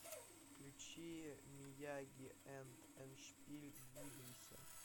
включи мияги энд эндшпиль двигайся